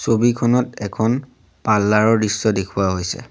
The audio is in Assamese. ছবিখনত এখন পাৰ্লাৰ ৰ দৃশ্য দেখুওৱা হৈছে।